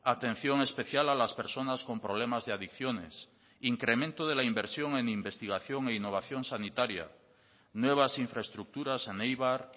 atención especial a las personas con problemas de adicciones incremento de la inversión en investigación e innovación sanitaria nuevas infraestructuras en eibar